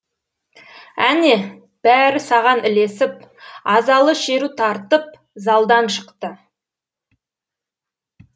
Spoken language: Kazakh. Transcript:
әне бәрі саған ілесіп азалы шеру тартып залдан шықты